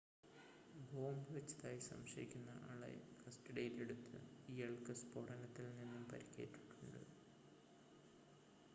bomb വച്ചതായി സംശയിക്കുന്ന ആളെ കസ്‌റ്റഡിയിൽ എടുത്തു ഇയാൾക്ക് സ്ഫോടനത്തിൽ നിന്നും പരിക്കേറ്റിട്ടുണ്ട്